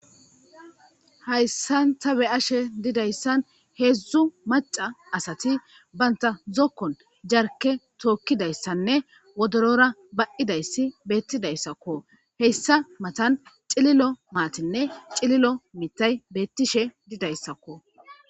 Hayssan ta be ashe didayssan heedzdzu maca asati banta zokkon jarke tookkidayssanne wodorora ba7idayssi beettidayssakko heyssa matan cililo maatinne cililo mitay beettishe didayssakko.